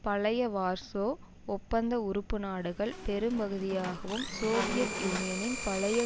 பழைய வார்ஷோ ஒப்பந்த உறுப்பு நாடுகள் பெரும்பகுதியாகவும் சோவியத் யூனியனின் பழைய